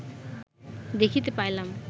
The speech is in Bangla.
দেখিতে পাইলাম